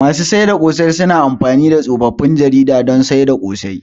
Masu sayar da ƙosai suna amfani da tsofaffin jaridu suna sayar da ƙosai.